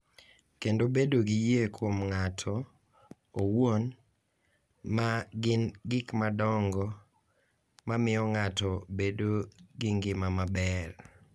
Kendo bedo gi yie kuom ng’ato owuon, ma gin gik madongo ma miyo ng’ato bedo gi ngima maber.